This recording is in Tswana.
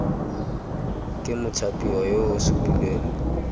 ke mothapiwa yo o supilweng